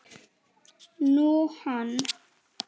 Nú, hann.